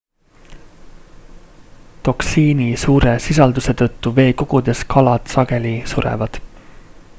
toksiini suure sisalduse tõttu veekogudes kalad sageli surevad